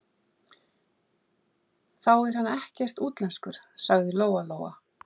Þá er hann ekkert útlenskur, sagði Lóa-Lóa.